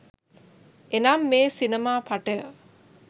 එනම් මේ සිනමා පටය